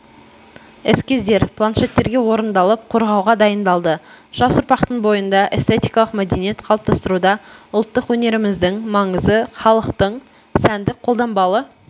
эскиздер планшеттерге орындалып қорғауға дайындалды жас ұрпақтың бойында эстетикалық мәдениет қалыптастыруда ұлттық өнеріміздің маңызы халықтың сәндік-қолданбалы